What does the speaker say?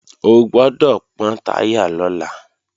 O gbọ́dọ̀ pọ́n táyà lọ́la!